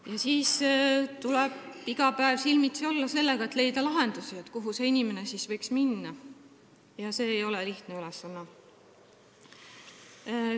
Iga päev tuleb silmitsi olla sellega, et on vaja leida lahendusi, kuhu see inimene võiks minna, ja see ei ole lihtne ülesanne.